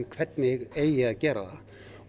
hvernig eigi að gera það